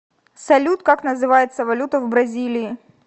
салют как называется валюта в бразилии